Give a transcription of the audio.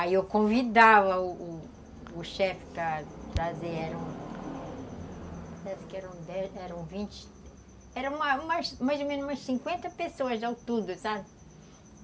Aí eu convidava o o chefe para para trazer, eram... acho que eram dez, eram vinte... eram mais ou menos umas cinquenta pessoas, não tudo, sabe?